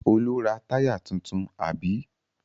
Olú ra táyà tuntun, àbí?